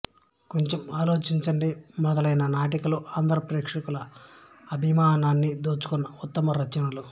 కొంచెం ఆలోచించండి మొదలైన నాటికలు ఆంధ్ర ప్రేక్షకుల అభిమానాన్ని దోచుకున్న ఉత్తమ రచనలు